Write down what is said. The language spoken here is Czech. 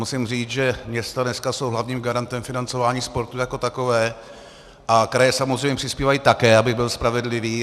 Musím říct, že města dneska jsou hlavním garantem financování sportu jako takového a kraje samozřejmě přispívají také, abych byl spravedlivý.